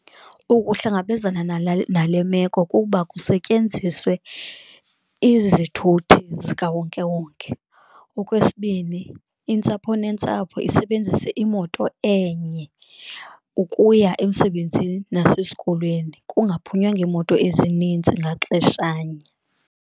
Ukuhlangabezana nala nale meko kukuba kusetyenziswe izithuthi zikawonkewonke. Okwesibini, intsapho nentsapho isebenzise imoto enye ukuya emsebenzini nasesikolweni kungaphunywa ngeemoto ezininzi ngaxeshanye.